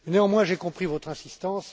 Néanmoins, j'ai compris votre insistance.